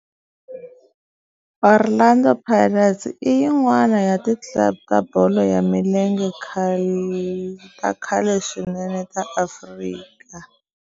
Orlando Pirates i yin'wana ya ti club ta bolo ya milenge ta khale swinene ta Afrika.